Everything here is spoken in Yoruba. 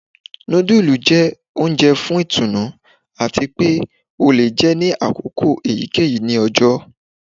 Nudulú jẹ oúnjẹ fún ìtùnú atí pé o lẹ jé ní akoko èyíkéyìí ní ọjọ.